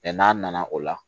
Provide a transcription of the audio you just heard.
n'a nana o la